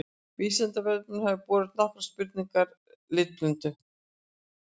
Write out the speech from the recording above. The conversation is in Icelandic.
Vísindavefnum hafa borist nokkrar spurningar um litblindu.